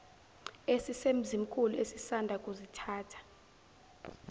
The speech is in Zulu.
esisemzimkhulu esisanda kusithatha